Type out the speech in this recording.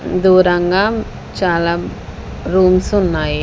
దూరంగా చాలా రూమ్సున్నాయి .